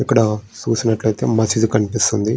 ఇక్కడ చూసినట్లయితే మసీదు కనిపిస్తుంది.